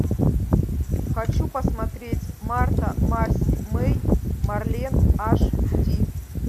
хочу посмотреть марта марси мэй марлен аш ди